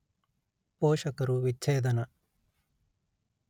ಪೋಷಕರು ವಿಚ್ಛೇದನ